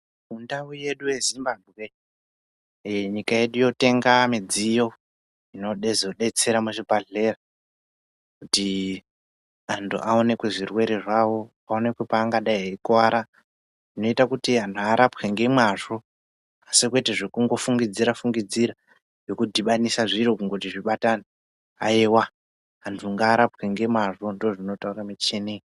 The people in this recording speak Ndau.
Mundau yedu yeZimbabwe nyika yedu yotenga midziyo inozodetsera muzvibhedhlera kuti anthu aoneke zvirwere zvawo aoneke paangadai eikuwara zvinoita kuti anthu arapwe nemazvo kwete zvekufungidzira fungidzira zvekudhibanise zviro kungoti zvibatane aiwa anthu ngaarapwe ngemwazvo ndozvinotaure michini.